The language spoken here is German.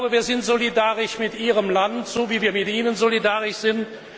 Wir sind solidarisch mit Ihrem Land, so wie wir mit Ihnen solidarisch sind.